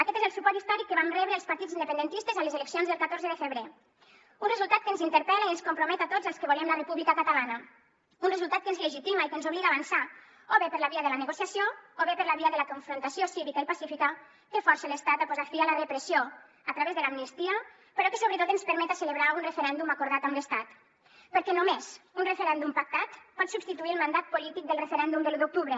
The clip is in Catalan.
aquest és el suport històric que vam rebre els partits independentistes a les eleccions del catorze de febrer un resultat que ens interpel·la i ens compromet a tots els que volem la república catalana un resultat que ens legitima i que ens obliga a avançar o bé per la via de la negociació o bé per la via de la confrontació cívica i pacífica que force l’estat a posar fi a la repressió a través de l’amnistia però que sobretot ens permeta celebrar un referèndum acordat amb l’estat perquè només un referèndum pactat pot substituir el mandat polític del referèndum de l’un d’octubre